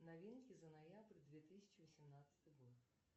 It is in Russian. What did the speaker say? новинки за ноябрь две тысячи восемнадцатый год